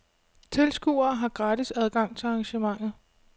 Tilskuere har gratis adgang til arrangementet.